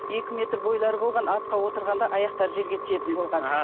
екі метр бойлары болған атқа отырғанда аяқтары жерге тиетін болған